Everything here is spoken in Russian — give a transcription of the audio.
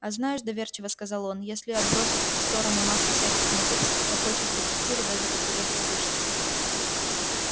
а знаешь доверчиво сказал он если отбросить в сторону массу всяких неудобств в такой чистой квартире даже как-то легче дышится